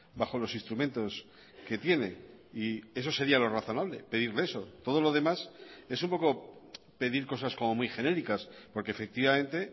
bajo los instrumentos que tiene y eso sería lo razonable pedirle eso todo lo demás es un poco pedir cosas como muy genéricas porque efectivamente